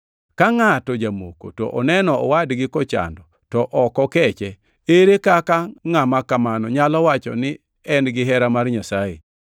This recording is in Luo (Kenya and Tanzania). Ka ngʼato jamoko to oneno owadgi kochando to ok okeche, ere kaka ngʼama kamano nyalo wacho ni en gihera mar Nyasaye?